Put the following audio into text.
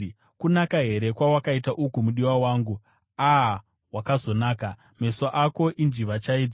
Kunaka here kwawakaita uku, mudiwa wangu! A-a, wakazonaka! Meso ako injiva chaidzo!